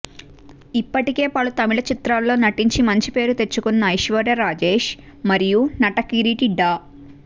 ఇప్పటికే పలు తమిళ చిత్రాల్లో నటించి మంచి పేరు తెచ్చుకున్న ఐశ్వర్యా రాజేష్ మరియు నటకిరీటి డా